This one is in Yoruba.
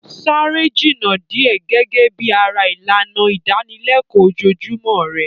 Sáré jìnnà díẹ̀ gẹ́gẹ́ bí ara ìlànà ìdánilẹ́kọ̀ọ́ ojoojúmọ́ rẹ.